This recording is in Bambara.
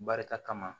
Barika kama